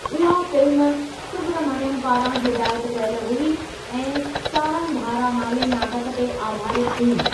उहा फ़िल्म सुब्रमण्यम पारां हिदायत कयल हुई ऐं सारंगधारा नाले नाटक ते आधारितु हुई।